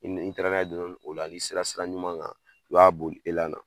N'i taara n'a ye dɔɔnin dɔɔnin o la n'i sera sira ɲuman kan, i b'a boli elan na.